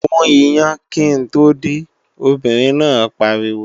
Gún iyán kí n tó dé, obìnrin náà pariwo!